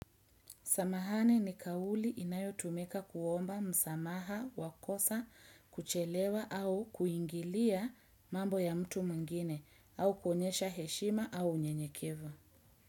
Samahani ni kauli inayotumika kuomba msamaha, wakosa, kuchelewa au kuingilia mambo ya mtu mwingine au kuonyesha heshima au nyenyekevu.